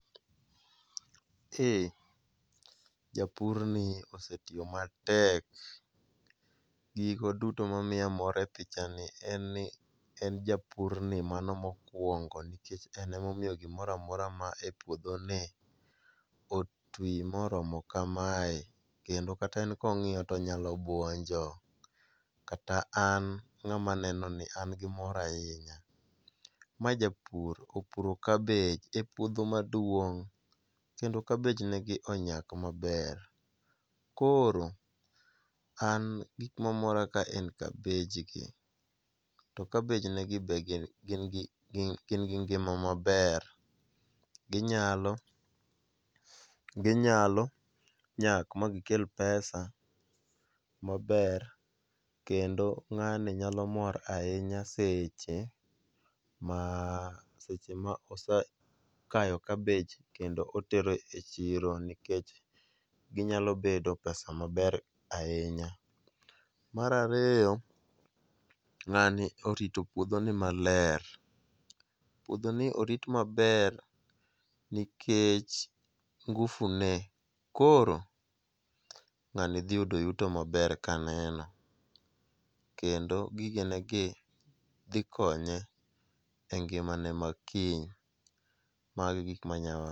Eh japur ni osetiyo matek, gigo duto mamiya mor e pichani en ni en japurni mano mokuongo, en emomiyo gimoro amora man e puodhoni otwi moromo kamae kendo kata en kong'iyo to onyalo buonjo. Kata an ng'ama nenoni an gi mor ahinya. Ma japur opuro kabich e puodho maduong' kendo kabij negi onyak maber, koro an gik mamora kae en kabijgi to kabij negi be gin gi gin gin gi ngima maber. Ginyalo ginyalo nyak magikel pesa maber kendo ng'ani nyalo mor ahinya seche ma osekayo kabich kendo otero e chiro. Ginyalo kelo pesa maber ahinya. Mar ariyo, ng'ani orito puodhoni maler puodhoni orit maler nikech ngufu ne koro ng'ani dhi yudo yuto maber kaneno kendo gigenegi dhi konye engimane ma kiny. Mago e gik manyalo wacho.